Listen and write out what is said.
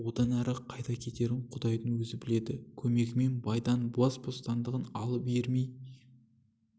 одан әрі қайда кетерін құдайдың өзі біледі көмегімен байдан бас бостандығын алып ермей